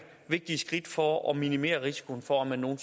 vigtige skridt for at minimere risikoen for at man nogen